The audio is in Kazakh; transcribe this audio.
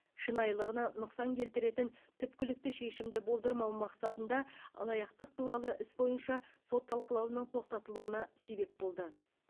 шынайылығына нұқсан келтіретін түпкілікті шешімді болдырмау мақсатында алаяқтық туралы іс бойынша сот талқылауының тоқтатылуына себеп болды